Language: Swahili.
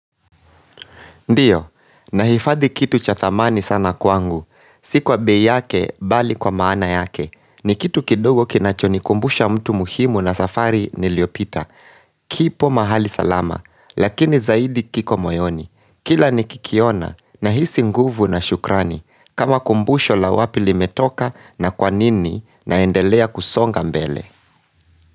Ndio, nahifadhi kitu cha thamani sana kwangu. Si kwa bei yake mbali kwa maana yake. Ni kitu kidogo kinacho nikumbusha mtu muhimu na safari niliyopita. Kipo mahali salama, lakini zaidi kiko moyoni. Kila nikikiona nahisi nguvu na shukrani kama kumbusho la wapi limetoka na kwanini naendelea kusonga mbele.